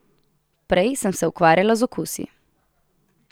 Prej sem se ukvarjala z okusi.